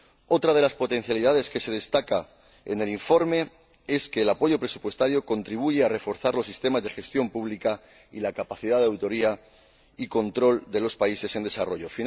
Otra de las potencialidades que se destaca en el informe es que el apoyo presupuestario contribuye a reforzar los sistemas de gestión pública y la capacidad de auditoría y control de los países en desarrollo.